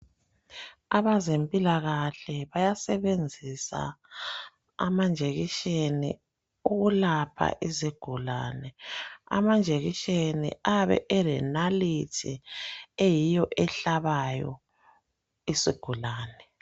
Abezempilakahle bayasebenzisa amajekiseni ukulapha izigulane. Amajekiseni ayabe elenaliti eyiyo ehlabayo isigulane.